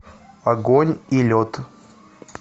огонь и лед